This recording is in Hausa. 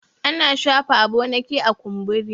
ana shafa aboniki a kumburi